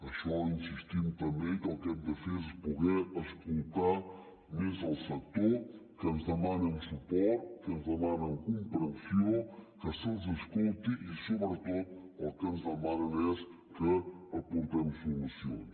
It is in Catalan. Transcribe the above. això hi insistim també que el que hem de fer és poder escoltar més el sec tor que ens demanen suport que ens demanen comprensió que se’ls escolti i sobretot el que ens demanen és que hi aportem solucions